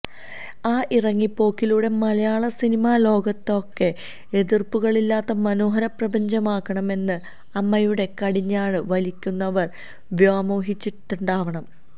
ആ ഇറങ്ങിപ്പോക്കിലൂടെ മലയാള സിനിമാ ലോകത്തെയാകെ എതിര്പ്പുകളില്ലാത്ത മനോഹര പ്രപഞ്ചമാക്കാമെന്ന് അമ്മയുടെ കടിഞ്ഞാണ് വലിക്കുന്നവര് വ്യാമോഹിച്ചിട്ടുണ്ടാവണം